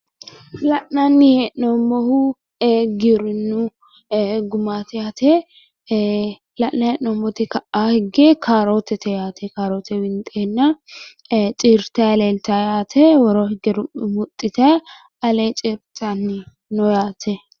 La'nanni hee'noommohu giwirinnu gumaati yaate la'nanni hee'noommoti ka'a higge kaarootete yaate kaaroote winxeenna ciirtayi leeltawo yaate woroo higge rumuxxitayi alee ciirtayi no yaate.